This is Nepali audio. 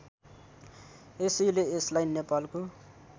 यसैले यसलाई नेपालको